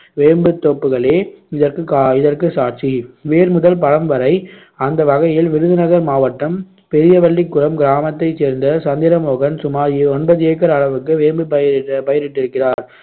வேம்புந்தோப்புகளே இதற்கு கா~ இதற்கு சாட்சி வேர் முதல் பழம் வரை அந்த வகையில் விருதுநகர் மாவட்டம் பெரியவள்ளிகுளம் கிராமத்தைச் சேர்ந்த சந்திரமோகன் சுமார் ஒன்பது ஏக்கர் அளவுக்கு வேம்பு பயிரி~ பயிரிட்டிருக்கிறார்